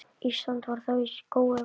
Ísland var þá skógi vaxið.